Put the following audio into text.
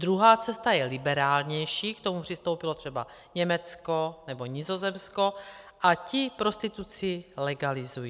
Druhá cesta je liberálnější, k tomu přistoupilo třeba Německo nebo Nizozemsko, a ti prostituci legalizují.